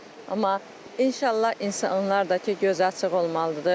Amma inşallah insanlar da ki, gözü açıq olmalıdır.